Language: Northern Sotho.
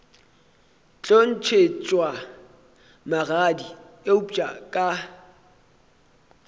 tlo ntšhetšwa magadi eupša ka